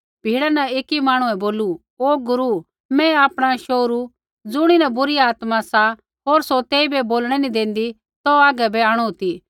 भिड़ा न ऐकी मांहणुऐ बोलू कि ओ गुरू मैं आपणा शोहरू ज़ुणीन बुरी आत्मा सा होर सौ तेइबै बोलणै नी देंदी तौ हागै बै आंणु ती